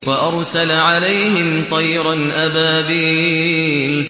وَأَرْسَلَ عَلَيْهِمْ طَيْرًا أَبَابِيلَ